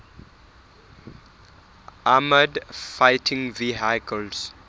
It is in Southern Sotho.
armoured fighting vehicles